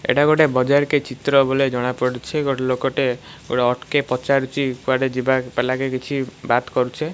ଏଟା ଗୋଟେ ବଜାରକେ ଚିତ୍ର କେ ଜଣାପଡୁଚି ଗୋଟେ ଲୋକଟେ ଅଟକି ପଚାରୁଚି କୁଆଡେ ଯିବାକେ କିଛି ବାତ୍ କରୁଚେ ।